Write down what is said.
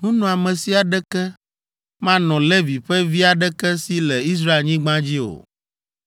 nunɔamesi aɖeke manɔ Levi ƒe vi aɖeke si le Israelnyigba dzi o,